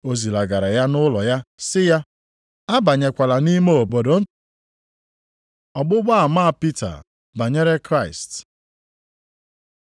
Ọ zilagara ya ụlọ ya sị ya, “Abanyekwala nʼime obodo.” Ọgbụgba ama Pita banyere Kraịst